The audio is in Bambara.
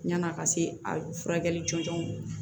Yann'a ka se a furakɛli jɔnjɔn ma